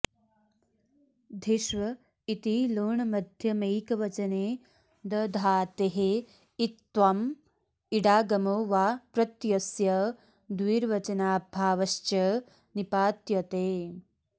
धिष्व इति लोण्मध्यमैकवचने दधातेः इत्त्वम् इडागमो वा प्रत्ययस्य द्विर्वचनाभावश्च निपात्यते